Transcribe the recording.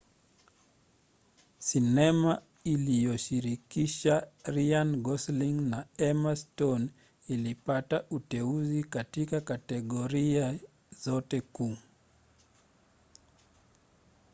sinema iliyoshirikisha ryan gosling na emma stone ilipata uteuzi katika kategoria zote kuu